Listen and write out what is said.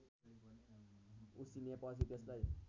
उसिनेपछि त्यसलाई